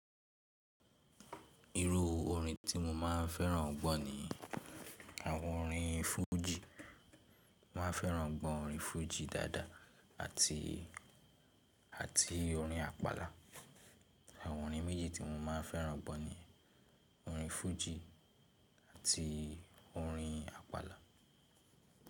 Irú orin ti mo máa ń fẹ́ràn gbọ́ ni àwọn orin fújì. Máa fẹ́ràn gbọ́ orin fújì dáadáa àti, àti orin àpàlà. Àwọn orin méjì tí mo máa ń fẹ́ràn gbọ́ ni orin fújì àti orin àpàlà.